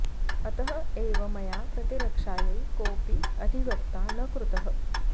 अतः एव मया प्रतिरक्षायै कोऽपि अधिवक्ता न कृतः